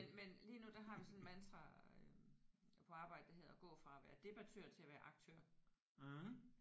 Men men lige nu der har vi sådan et mantra øh på arbejdet der hedder at gå fra at være debattør til at være aktør